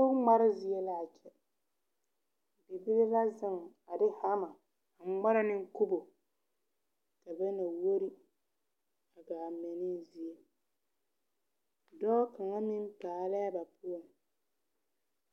Kubo ngmare zie laa kyɛ ka bibile la zeŋ a de hama a ngmara ne kubo ka ba na wuor a gaa mɛ ne yie dɔɔ kaŋa meŋ paalɛɛ ba poɔ